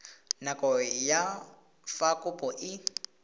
nako ya fa kopo e